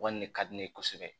Wari in de ka di ne ye kosɛbɛ